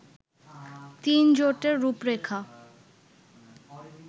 তিনজোটের রূপরেখা